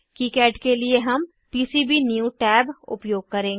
KiCad के लिए हम पीसीबीन्यू टैब उपयोग करेंगे